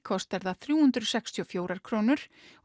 kostar það þrjú hundruð sextíu og fjórar krónur